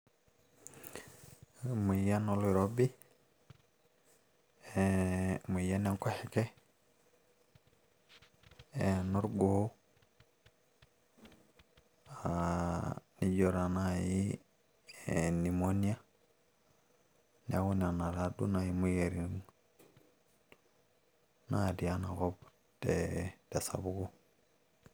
Emoyian oloiroibi ee emoyian e nkoshoke enorgoo aa nijo taa naaji ee pneumonia neeku nena taaduo naaji imoyiaritin natii enakop tee tesapuko.